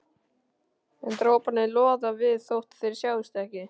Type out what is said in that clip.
En droparnir loða við þótt þeir sjáist ekki.